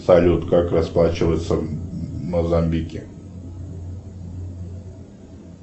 салют как расплачиваться в мозамбике